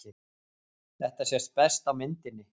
Þetta sést best á myndinni.